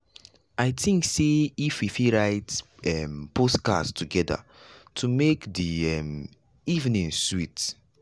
i think sey if we fit write um post cards together to make the um evening sweet.